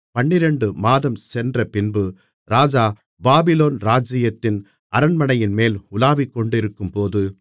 பன்னிரண்டு மாதம் சென்ற பின்பு ராஜா பாபிலோன் ராஜ்ஜியத்தின் அரண்மனைமேல் உலாவிக்கொண்டிருக்கும்போது